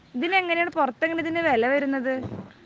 ഇതിന് എങ്ങനെയാണ്, പുറത്ത് എങ്ങനെയാണ് ഇതിന് വില വരുന്നത്?